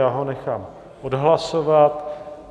Já ho nechám odhlasovat.